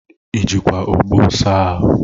ị jikwa ogbo saa ahụ?